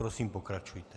Prosím, pokračujte.